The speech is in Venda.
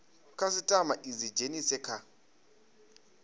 khasitama i dzi dzhenise kha